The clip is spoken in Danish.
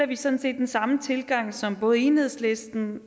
vi sådan set den samme tilgang som både enhedslisten